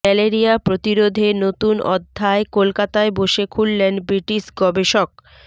malaria প্রতিরোধে নতুন অধ্যায় কলকাতায় বসে খুললেন ব্রিটিশ গবেষক